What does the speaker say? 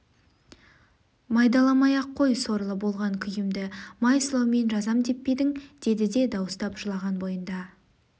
майдаламай-ақ қой сорлы болған күйімді май сылаумен жазам деп пе едің деді де дауыстап жылаған бойында